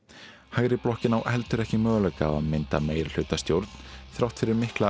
hægri blokkin á heldur ekki möguleika á að mynda meirihlutastjórn þrátt fyrir mikla